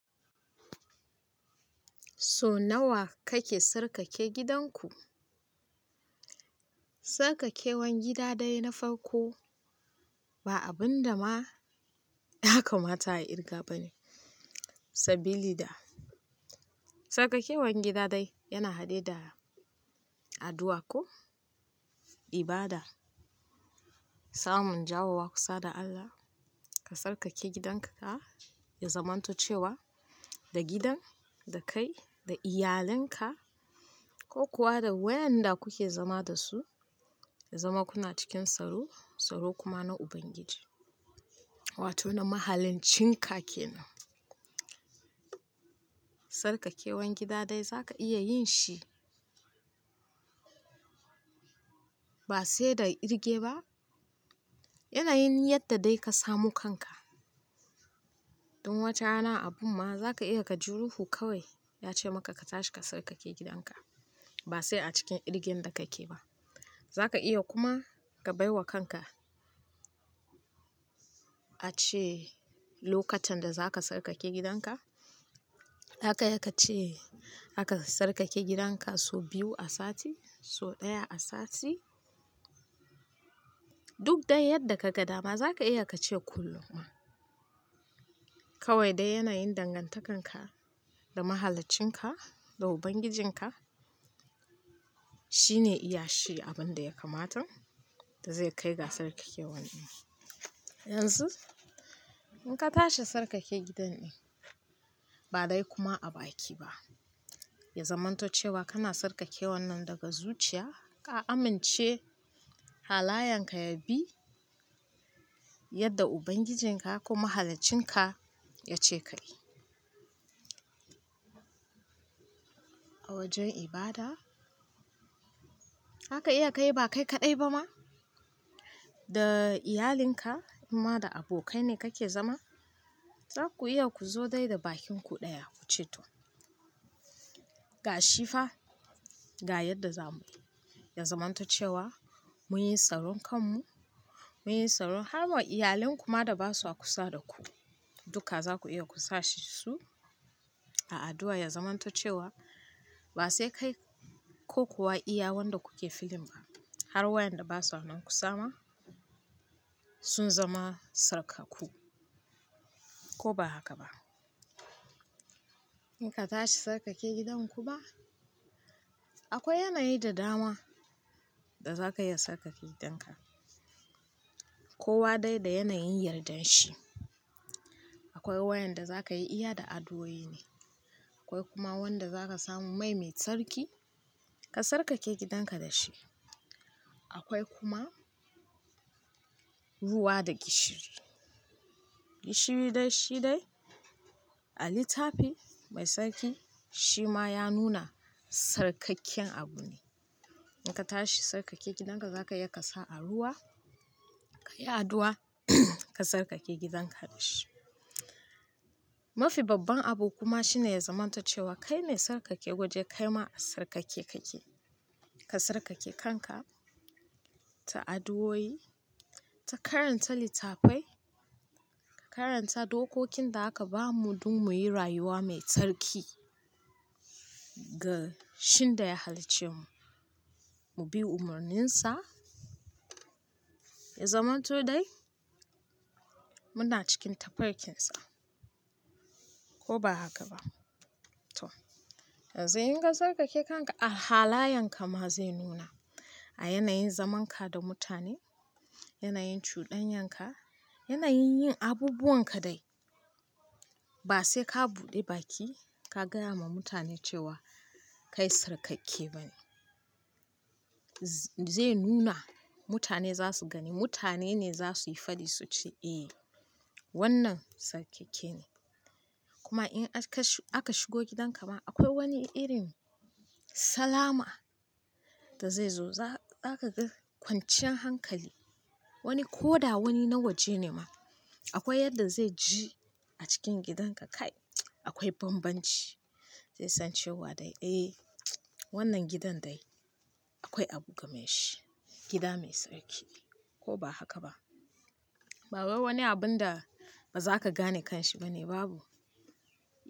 So nawa kake sarƙake gidanku? Tsarkakewan gida dai na farko ba abin da ma ya kamata a irga ba ne. Sabili da tsarkakewan gida dai yana haɗe da addu'a ko ibada, samun jawowa kusa da Allah. Ka tsarkake gidanka ya zamanto cewa da gidan, da kai, da iyalanka ko kuwa da waƴanda kuke zama da su, ya zama kuna cikin tsaro, tsaro kuma na Ubangiji wato na Mahaliccinka ke nan. Sarƙakewan gida dai za ka iya yin shi ba sai da irge ba. Yanayin yadda dai ka samu kanka. Tun wata rana abun ma za ka iya ka ji ruho kawai ya ce maka ka tashi ka tsarkake gidanka ba sai a cikin irgen da kake ba. Za ka iya kuma ka bai wa kanka ace lokacin da za ka tsarkake gidanka, zaka iya ka ce zaka tsarkake gidanka so biyu a sati, so ɗaya a sati. Duk dai yadda ka ga dama za ka iya ka ce kullum ma. Kawai dai yanayin dangantakarka da Mahaliccinka, da Ubangijinka shine iya shi abin da ya kamata da zai kai ga tsarkakewa ɗin. Yanzu in ka tashi tsarkake gidan ɗin ba dai kuma a baki ba, ya zamanto cewa kana tsarkakewan nan daga zuciya, ka amince halayenka ya bi yadda Ubangijinka ko Mahaliccinka ya ce ka yi. A wajen ibada haka iya ka yi ba kai kaɗai ba ma, da iyalinka in ma da abokai ne kake zama, za ku iya ku zo dai da bakinku ɗaya ku ce to, ga shifa, ga yadda za mu. Ya zamanto cewa muyi tsaron kanmu, muyi tsaron har ma iyalan kuma da ba su a kusa da ku duka za ku iya ku sa su a addu'a ya zamanto cewa ba sai kai ko kuwa iya wanda kuke filin ba. Har wayanda ba su a nan ku sama sun zama tsarkakku ko ba haka ba. In ka tashi tsarkake gidanku ma akwai yanayi da dama da za ka iya tsarkake gidanka. Kowa dai da yanayin yardan shi. Akwai waƴanda za ka yi iya da addu'o'i ne, akwai kuma wanda za ka samu mai mai tsarki ka tsarkake gidanka da shi. Akwai kuma ruwa da gishiri. Gishiri dai shi dai a littafi mai tsarki shi ma ya nuna tsarkakken abu ne. In ka tashi tsarkake gidanka za ka iya ka sa a ruwa, ka yi addu'a ka sarƙake gidanka da shi. Mafi babban abu kuma shine ya zamanto cewa kai me tsarkake waje kai ma a tsarkake kake. Ka tsarkake kanka ta addu'o'i, ta karanta littafai, ka karanta dokokin da aka ba mu don muyi rayuwa mai tsarki ga shin da ya hallice mu. Mu bi umarninsa ya zamanto dai muna cikin tafarkinsa ko ba haka ba to. Yanzu in ka tsarkake kanka a halayenka ma zai nuna a yanayin zamanka da mutane, yanayin cuɗanyanka, yanayin yin abubuwan ka dai ba sai ka buɗe baki ka gaya ma mutane cewa kai tsarkakke ba ne. Zai nuna mutane za su gani, mutane ne za su yi faɗi su ce eh wannan tsarkakke ne. Kuma in aka shigo gidanka ma akwai wani irin salama da zai zo. Za ka ga kwanciyan hankali, wani koda wani na waje ne ma. Akwai yadda zai ji a cikin gidanka kai akwai bambanci, zai san cewa dai eh wannan gidan dai akwai abu game da shi, gida mai tsarki ko ba haka ba. Bawai wani abun da ba za ka gane kanshi ba ne babu.